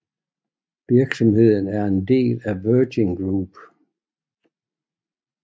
Virksomheden er en del af Virgin Group